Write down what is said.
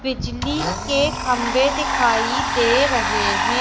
बिजली के काम्बे दिखाइ दे रहे हे।